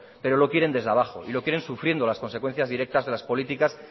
pero lo quieren desde abajo y lo quieren sufriendo las consecuencias directas de las políticas